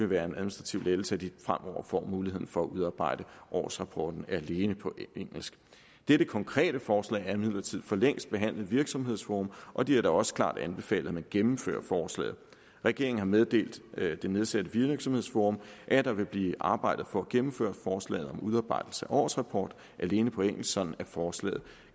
være en administrativ lettelse at de fremover får muligheden for at udarbejde årsrapporten alene på engelsk dette konkrete forslag er imidlertid for længst behandlet i virksomhedsforum og de har da også klart anbefalet at man gennemfører forslaget regeringen har meddelt det nedsatte virksomhedsforum at der vil blive arbejdet for at gennemføre forslaget om udarbejdelse af årsrapport alene på engelsk sådan at forslaget